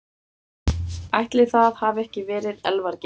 Ætli það hafi ekki verið Elvar Geir.